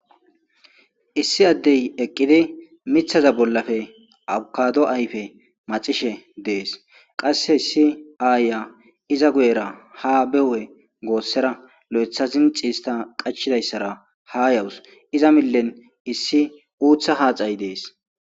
issi addey eqqidi mithaza bollafe abkado ayfe macishe dees qasse issi aaya iza guyera ha behwe goossera lo7etha zinciista qachchidayssara ha yawus iza millen issi uutha haaxay dees